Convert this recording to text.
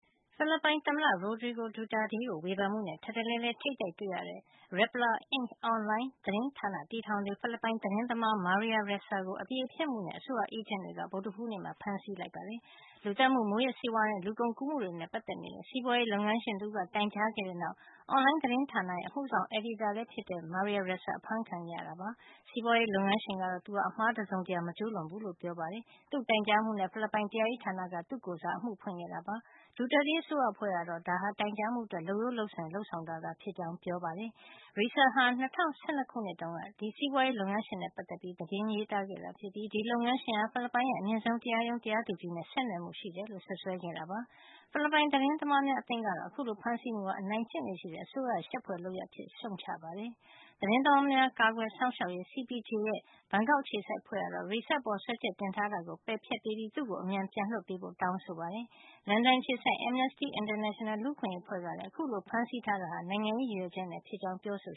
ဖိလစ်ပိုင်သမ္မတ Rodrigo Duterte ကိုဝေဖန်မှုနဲ့ ထပ်တလဲလဲ ထိပ်တိုက်တွေ့ရတဲ့ Rappler, Inc အွန်လိုင်း သတင်းဌာနတည်ထောင်သူ ဖိလစ်ပိုင် သတင်းသမား Maria Ressa ကို အသရေဖျက်မှုနဲ့ အစိုးရအေးဂျင့်တွေက ဗုဒ္ဓဟူးနေ့က ဖမ်းဆီးခဲ့ပါတယ်။ လူသတ်မှု၊ မူးယစ်ဆေးဝါးနဲ့ လူကုန်ကူးမှုတွေနဲ့ပတ်သက်နေတဲ့ စီးပွါးရေးလုပ်ငန်းရှင် တဦးက တိုင်ကြားခဲ့တဲ့နောက် အွန်လိုင်းသတင်းဌာနရဲ့ အမှုဆောင် အယ်ဒီတာလည်းဖြစ်တဲ့ Maria Ressa အဖမ်းခံခဲ့ရတာ ဖြစ်ပါတယ်။ စီးပွားရေးလုပ်ငန်းရှင်ကတော့ သူဟာ အမှားတစုံတရာ မကျူးလွန်ခဲ့ဘူးလို့ ပြောပါတယ်။ သူ့ရဲ့ တိုင်ကြားမှုနဲ့ ဖိလစ်ပိုင် တရားရေးဌာနက သူ့ကိုယ်စား အမှုဖွင့်ခဲ့တာ ဖြစ်ပါတယ်။ Duterte အစိုးရအဖွဲ့ကတော့ ဒါဟာ တိုင်ကြားမှုအတွက် လုပ်ရိုးလုပ်စဉ် လုပ်ဆောင်တာသာ ဖြစ်ကြောင်း ပြောပါတယ်။ Ressa ဟာ ၂၀၁၂ ခုတုန်းက ဒီစီးပွါးရေးလုပ်ငန်းရှင်နဲ့ပတ်သက်ပြီး သတင်းရေးသားခဲ့တာ ဖြစ်ပြီး ဒီလုပ်ငန်းရှင်ဟာ ဖိလစ်ပိုင်ရဲ့ အမြင့်ဆုံး တရားရုံး တရားသူကြီး နဲ့ ဆက်နွယ်မှုရှိတယ်လို့ စွပ်စွဲခဲ့တာ ဖြစ်ပါတယ်။ ဖိလစ်ပိုင် သတင်းသမားများ အသင်း ကတော့ အခုလို ဖမ်းဆီးမှုဟာ အနိုင်ကျင့်လေ့ရှိတဲ့ အစိုးရရဲ့ ရှက်ဖွယ်လုပ်ရပ် အဖြစ်ရှုှုံ့ချ ခဲ့ပါတယ်။ သတင်းသမားများ ကာကွယ်စောင့်ရှောက်ရေး CPJ ရဲ့ ဘန်ကောက်အခြေစိုက် အဖွဲ့ကတော့ Ressa အပေါ်စွဲချက်တင်ထားတာကို ပယ်ဖျက်ပေးပြီး သူ့ကို အမြန်ပြန်လွှတ်ပေးဖို့ တောင်းဆိုခဲ့ပါတယ်။ လန်ဒန်အခြေစိုက် Amnesty International လူ့အခွင့်ရေး အဖွဲ့ကလည်း အခုလို ဖမ်းဆီးထားတာဟာ နိုင်ငံရေးရည်ရွယ်ချက်နဲ့ဖြစ်ကြောင်း ပြောဆိ